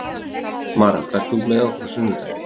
Marel, ferð þú með okkur á sunnudaginn?